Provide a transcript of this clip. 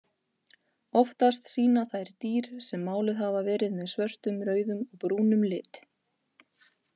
Oftast sýna þær dýr sem máluð hafa verið með svörtum, rauðum og brúnum lit.